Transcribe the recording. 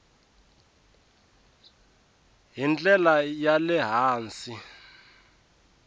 hi ndlela ya le hansi